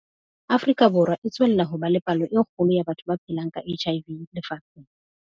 Afrika Borwa e tswella ho ba le palo e kgolo ya batho ba phelang ka HIV lefatsheng.